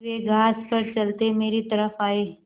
फिर वे घास पर चलते मेरी तरफ़ आये